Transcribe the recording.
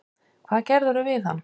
Hvað gerðirðu við hann!